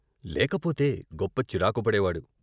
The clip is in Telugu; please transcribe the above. లేకపోతే గొప్ప చిరాకు పడేవాడు.